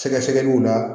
Sɛgɛsɛgɛliw la